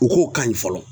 U k'o ka ɲi fɔlɔ